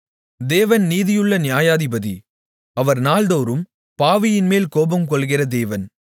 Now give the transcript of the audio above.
தேவன் நீதியுள்ள நியாயாதிபதி அவர் நாள்தோறும் பாவியின்மேல் கோபம்கொள்ளுகிற தேவன்